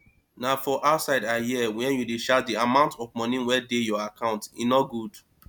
na for outside i hear wey you dey shout the amount of money wey dey your account e no good